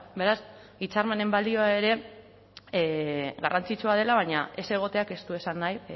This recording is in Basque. beraz hitzarmenen balioa ere garrantzitsua dela baina ez egoteak ez du esan nahi